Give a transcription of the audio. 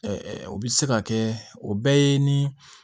o bɛ se ka kɛ o bɛɛ ye